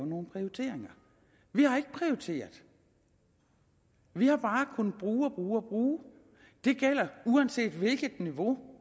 nogle prioriteringer vi har ikke prioriteret vi har bare kunnet bruge og bruge og bruge det gælder uanset hvilket niveau